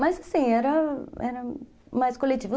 Mas, assim, era era mais coletivo.